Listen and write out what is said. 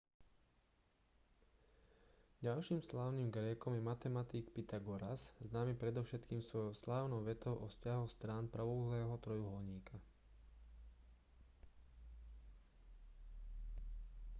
ďalším slávnym grékom je matematik pytagoras známy predovšetkým svojou slávnou vetou o vzťahoch strán pravouhlého trojuholníka